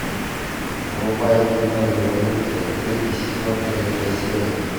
врубай кино революция третий сезон третья серия